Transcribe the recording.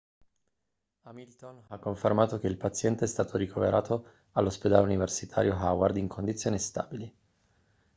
hamilton ha confermato che il paziente è stato ricoverato all'ospedale universitario howard in condizioni stabili